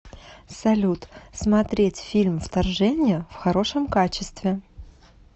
салют смотреть фильм вторжение в хорошем качестве